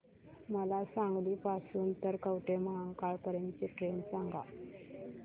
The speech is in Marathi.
मला सांगली पासून तर कवठेमहांकाळ पर्यंत ची ट्रेन सांगा